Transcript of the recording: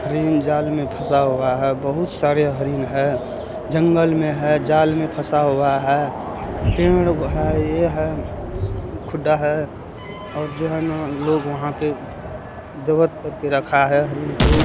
हरिन जाल में फसा हुआ है बहुत सारे हरीन है जंगल में है झाल में फसा हुआ है। पेड़ है ---